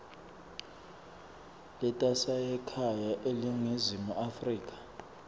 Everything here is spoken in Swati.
letasekhaya eningizimu afrika